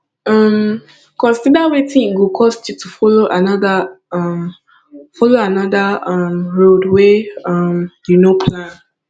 um consider wetin e go cost you to follow another um follow another um road wey um you no plan